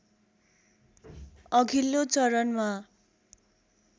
अघिल्लो चरणमा